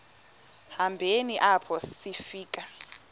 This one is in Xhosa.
hambeni apho sifika